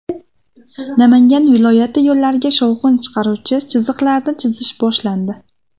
Namangan viloyati yo‘llariga shovqin chiqaruvchi chiziqlarni chizish boshlandi.